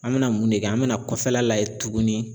An mena mun ne kɛ an mena kɔfɛla layɛ tuguni